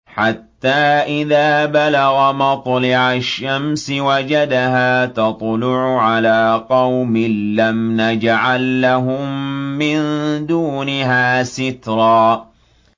حَتَّىٰ إِذَا بَلَغَ مَطْلِعَ الشَّمْسِ وَجَدَهَا تَطْلُعُ عَلَىٰ قَوْمٍ لَّمْ نَجْعَل لَّهُم مِّن دُونِهَا سِتْرًا